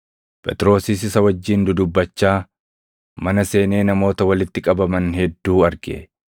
Phexrosis isa wajjin dudubbachaa mana seenee namoota walitti qabaman hedduu arge.